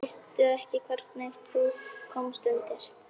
Veistu ekki hvernig þú komst undir?